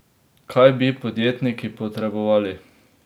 Kaj bi podjetniki potrebovali?